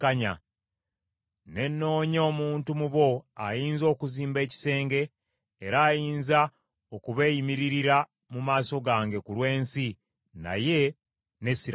“Ne nnoonya omuntu mu bo ayinza okuzimba ekisenge era ayinza okubeeyimiririra mu maaso gange ku lw’ensi, naye ne siraba n’omu.